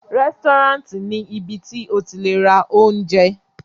Rẹ́sítọ́ráǹtì ni ibi tí o ti le ra oúnjẹ.